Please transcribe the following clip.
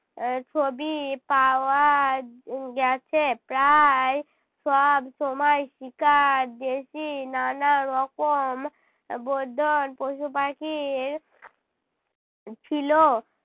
আহ ছবি পাওয়া গেছে। প্রায় সবসময় শিকার নানা রকম পশু-পাখির ছিল।